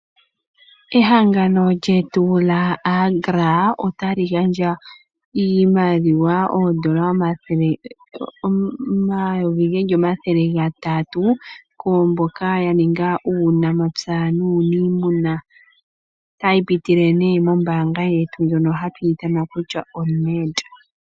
Ehangano lyetu lyaAgra otali gandja iimaliwa oondola 300 000 kwaamboka yaninga uunamapya nuunimuna. Otayi pitile nee mombaanga yetu ndjoka hatu ithana kutya oNed.